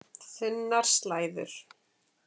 Þunnar slæður.